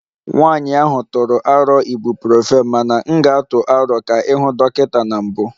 Nwanyị ahụ tụrụ aro Ibuprofen mana m ga-atụ aro ka ị hụ dọkịta na mbụ